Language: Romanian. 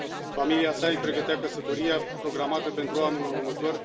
Familia sa îi pregătea căsătoria, programată pentru anul următor,